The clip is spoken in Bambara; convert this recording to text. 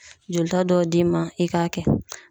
Jolita dɔw d'i ma i k'a kɛ